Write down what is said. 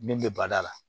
Min bɛ bada la